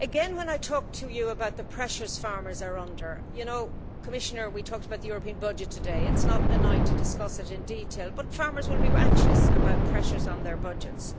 When I talk to you about the pressures farmers are under and Commissioner you know we talked about the European budget today, so it's not a night to discuss it in detail farmers will be anxious about pressures on their budgets.